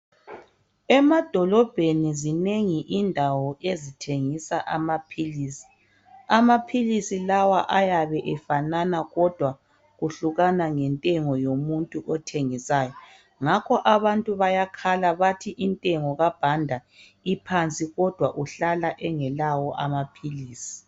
Emadolobheni zinengi indawo ezithengisa amaphilisi. Amaphilisi lawa ayabe efanana kodwa kuhlukana ngentengo yomuntu othengisayo ngakho abantu bayakhala bathi intengo kaBanda iphansi kodwa uhlala engelawo amaphilisi